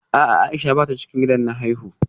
A'a Aisha bata cikin gidan na haifuwa